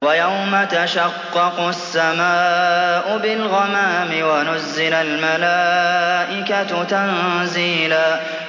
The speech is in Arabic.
وَيَوْمَ تَشَقَّقُ السَّمَاءُ بِالْغَمَامِ وَنُزِّلَ الْمَلَائِكَةُ تَنزِيلًا